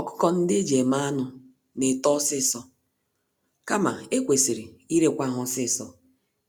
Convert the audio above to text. Ọkụkọ-ndị-eji-eme-anụ N'eto ọsịsọ, kama ekwesịrị irekwa ha ọsịsọ